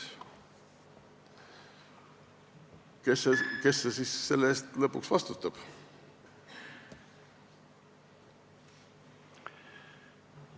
Kes siis selle eest lõpuks vastutab?